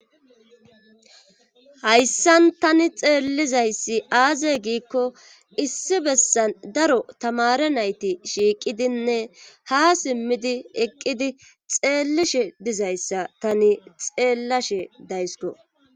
hayssan tani xeellizayssi aaze giikko issi bessan daro tamare nayti shiiqidinne ha simmidi eqqidi xeellishe dizayssa tani xeellashe dayisiko